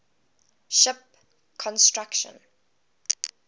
ship construction